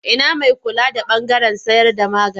Ina mai kula da ɓangaren sayarda magani?